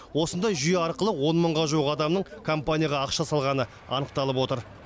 осындай жүйе арқылы он мыңға жуық адамның компанияға ақша салғаны анықталып отыр